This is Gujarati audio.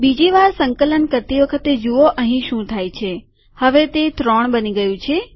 બીજી વાર સંકલન કરતી વખતે જુઓ અહીં શું થાય છે હવે તે ત્રણ બની ગયું છે